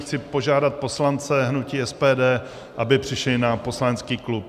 Chci požádat poslance hnutí SPD, aby přišli na poslanecký klub.